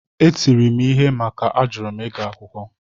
Etiri m ihe maka na a jụrụ m ịga akwụkwọ